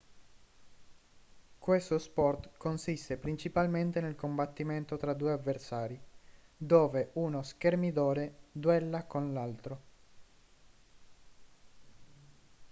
questo sport consiste principalmente nel combattimento tra due avversari dove uno schermidore duella con l'altro